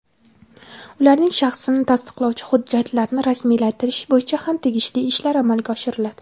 ularning shaxsini tasdiqlovchi hujjatlarni rasmiylashtirish bo‘yicha ham tegishli ishlar amalga oshiriladi.